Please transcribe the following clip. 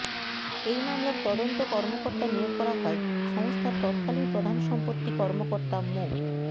এই মামলার তদন্ত কর্মকর্তা নিয়োগ করা হয় সংস্থার তৎকালীন প্রধান সম্পত্তি কর্মকর্তা মো